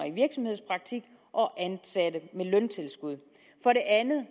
i virksomhedspraktik og ansatte med løntilskud for det andet